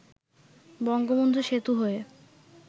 বঙ্গবন্ধু সেতু হয়ে